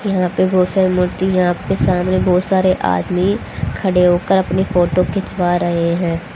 यहां पे बहोत सारे मूर्ति है यहां पे सामने बहोत सारे आदमी खड़े होकर अपनी फोटो खिंचवा रहे हैं।